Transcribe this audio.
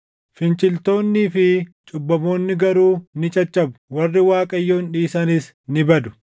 Finciltoonnii fi cubbamoonni garuu ni caccabu; warri Waaqayyoon dhiisanis ni badu.